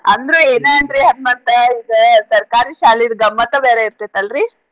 ಅಂದ್ರು ಏನ ಅನ್ರಿ ಮತ್ತ ಈಗ ಸರ್ಕಾರಿ ಶಾಲಿದ್ ಗಮ್ಮತಾ ಬೇರೆ ಇರ್ತಿತ್ ಅಲ್ರೀ.